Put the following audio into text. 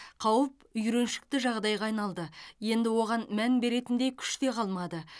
қауіп үйреншікті жағдайға айналды енді оған мән беретіндей күш те қалмады